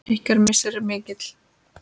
Ykkar missir er mikill.